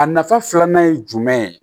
A nafa filanan ye jumɛn ye